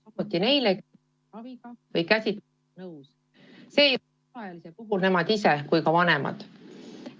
Samuti neile, kes on oma ravi või käsitlusega nõus, alaealiste puhul nii nemad ise kui ka vanemad.